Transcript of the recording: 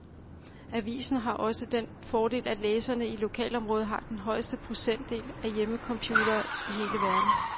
Avisen har også den fordel, at læserne i lokalområdet har den højeste procentdel af hjemmecomputere i hele verden.